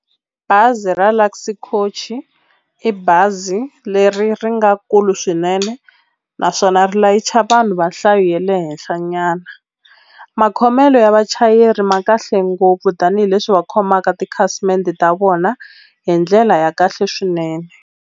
Bazi ra Luxy Coach-i i bazi leri ri nga kulu swinene naswona ri layicha vanhu va nhlayo ya le henhla nyana makhomelo ya vachayeri ma kahle ngopfu tanihileswi va khomaka tikhasimende ta vona hi ndlela ya kahle swinene.